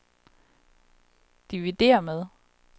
dividér med